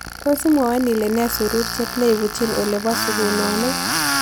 Tos' iimwawon ile po nee suruurchet nebutyiin ole po sugunonik